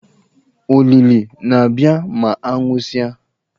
Ólílì na-abịa ma a nwụsịa.